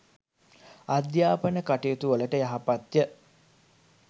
අධ්‍යාපන කටයුතුවලට යහපත්ය